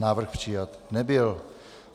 Návrh přijat nebyl.